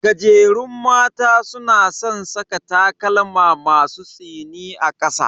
Gajerun mata suna san saka takalma masu tsini a kasa.